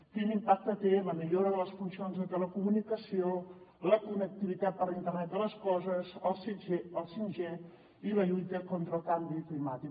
quin impacte té en la millora de les funcions de telecomunicació la connectivitat per a l’internet de les coses el 5g i la lluita contra el canvi climàtic